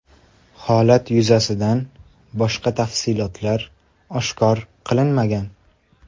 Holat yuzasidan boshqa tafsilotlar oshkor qilinmagan.